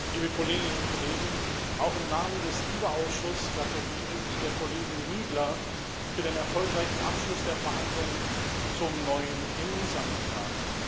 Frau Präsidentin, liebe Kolleginnen und Kollegen! Auch im Namen des LIBE-Ausschusses gratuliere ich der Kollegin Niebler für den erfolgreichen Abschluss der Verhandlungen zum neuen ENISA-Mandat.